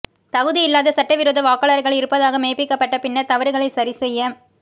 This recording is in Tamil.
தகுதி இல்லாத சட்ட விரோத வாக்காளர்கள் இருப்பதாக மெய்பிக்கப்பட்ட பின்னர் தவறுகளைச் சரி செய்ய